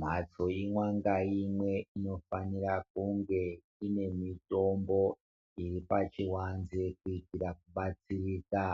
.Mhatso imweni ngaimwe inofanira kunge ine mitombo iri pachiwanze kuitira kubatsirika .